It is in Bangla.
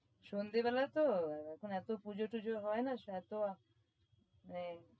সন্ধেবেলা তো এখন এতো পূজোটুজো হয়না এতো এই